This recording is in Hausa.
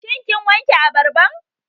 Shin kin wanke abarban?